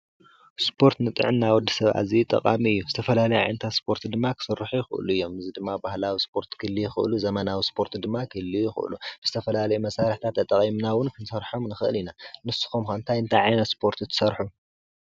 ስፖርት ንጥዕና ወዲ ሰብ ኣዝዩ ጠቃሚ እዩ ዝተፈላለዩ ዓይነታት ስፖርት ድማ ክስርሑ ይክእሉ እዮም እዚ ድማ ባህላዊ ስፖርት ክህልዉ ይክእሉ ዘመናዊ ስፖርት ድማ ክህልዉ ይክእሉ ዝተፈላለዩ መሳርሕታት ተጠቂምና እዉን ክንሰርሖም ንክእል ኢና ንስኩም ከ ታይታይ ዓይነት ስፖርቲ ትሰርሑ?